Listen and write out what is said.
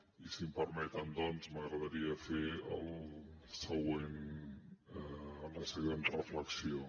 i si em permeten doncs m’agradaria fer la següent reflexió